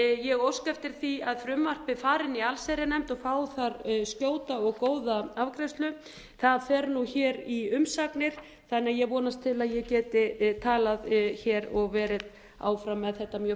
ég óska eftir því að frumvarpið fari inn í allsherjarnefnd og fái þar skjóta og góða afgreiðslu það fer nú hér í umsagnir þannig að ég vonast til að ég geti talað hér og verið áfram með þetta mjög